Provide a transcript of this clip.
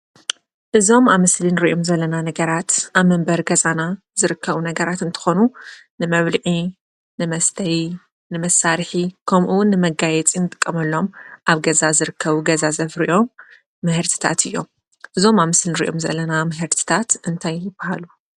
አዞም አብ ምስሊ እንሪኦም ዘለና ነገራት አብ መንበሪ ገዛና ዝርከቡ ነገራት እንትኾኑ ንመብልዒ፣ ንመስተይ፣ ንመሳርሒ፣ ከምኡ እውን ንመጋየፂ ንጥቀመሉ አብ ገዛ ዝርከቡ ገዛ ዘፍርዮም ምህርትታት እዮም። እዞም አብ ምስሊ እንሪኦም ዘለና ምህርትታት እንታይ ይበሃሉ?